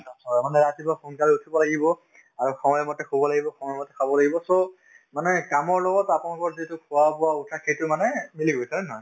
অ, মানে ৰাতিপুৱা সোনকালে উঠিব লাগিব আৰু সময় মতে শুব লাগিব সময় মতে খাব লাগিব চব মানে কামৰ লগত আপোনালোকৰ যিটো খোৱা-বোৱা, উঠা সেইটো মানে মিলি গৈছে হয় নে নহয়